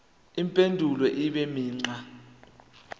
impendulo ibe imigqa